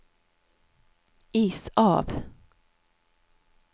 is av